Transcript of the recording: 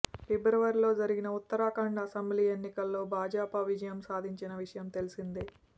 ఫిబ్రవరిలో జరిగిన ఉత్తరాఖండ్ అసెంబ్లీ ఎన్నికల్లో భాజపా విజయం సాధించిన విషయం తెలిసిందే